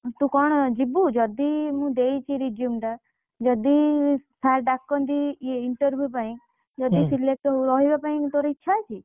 ତୁ କଣ ଯିବୁ, ଯଦି ମୁଁ ଦେଇଛି resume ଟା ଯଦି sir ଡାକନ୍ତି, ଇଏ interview ପାଇଁ ଯଦି selection ନ ରହିବା ପାଇଁ ତୋର ଇଚ୍ଛା ଅଛି।